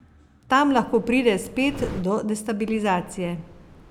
Tam lahko pride spet do destabilizacije.